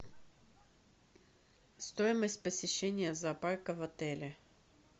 стоимость посещения зоопарка в отеле